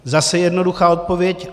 Zase jednoduchá odpověď.